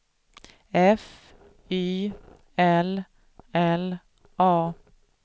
F Y L L A